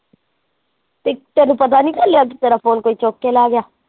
ਤੇ ਤੈਨੂੰ ਪਤਾ ਨੀ ਚੱਲਿਆ ਕੀ ਤੈਰਾ phone ਕੋਈ ਚੱਕ ਕੇ ਲੈ ਗਿਆ